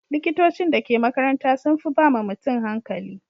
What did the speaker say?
Likitocin da ke makaranta sun fi ba ma mutum hankali.